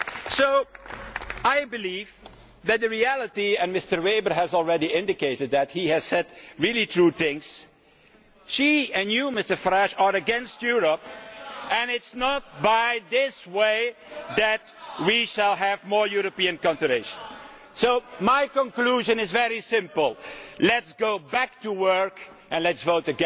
So I believe that in reality and Mr Weber has already indicated that he has said really true things she and you, Mr Farage, are against Europe, and it is not in this way that we shall have more European cooperation. My conclusion is very simple let us get back to work and let us vote